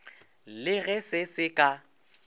le ge se se ka